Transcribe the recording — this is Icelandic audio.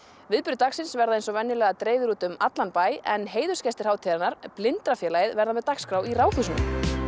viðburðir dagsins verða eins og venjulega á dreif um bæinn en heiðursgestir hátíðarinnar Blindrafélagið verða með dagskrá í Ráðhúsinu